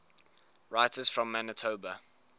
writers from manitoba